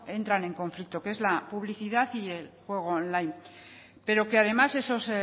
entran en conflicto que es la publicidad y el juego online pero que además esos